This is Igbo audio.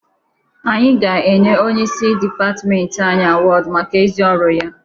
Anyị ga-enye onyeisi dịpatịmentị anyị awọdụ maka ezi ọrụ ya.